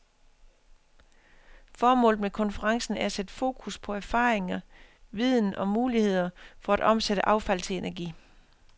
Formålet med konferencen er at sætte focus på erfaringer, viden og muligheder for at omsætte affald til energi.